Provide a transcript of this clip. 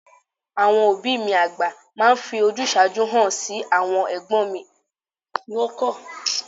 Àwọn òbí mi àgbà máa ń fi ojúsàájú hàn sí àwọn ẹ̀gbọ́n ìyá mi àgbà..